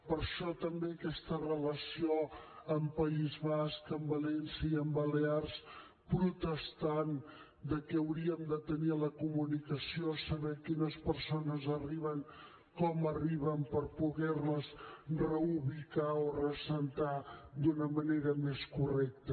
per això també aquesta relació amb el país basc amb valència i amb les balears protestant que hauríem de tenir la comunicació saber quines persones arriben com arriben per poderles reubicar o reassentar d’una manera més correcta